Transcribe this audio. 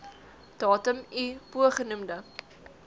datum i bogenoemde